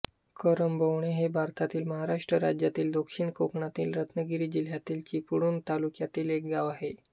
करंबवणे हे भारतातील महाराष्ट्र राज्यातील दक्षिण कोकणातील रत्नागिरी जिल्ह्यातील चिपळूण तालुक्यातील एक गाव आहे